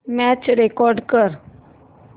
match record कर